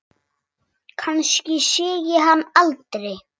Kannski sé ég hann aldrei.